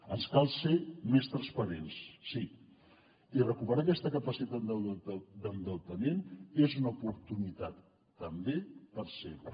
ens cal ser més transparents sí i recuperar aquesta capacitat d’endeutament és una oportunitat també per ser ho